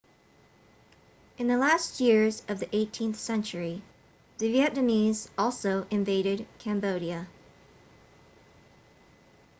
in the last years of the 18th century the vietnamese also invaded cambodia